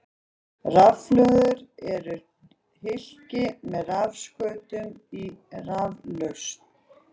Rafhlöður eru hylki með rafskautum í raflausn.